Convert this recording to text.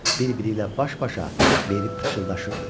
Bir-biri ilə baş-başa verib pıçıldaşırdı.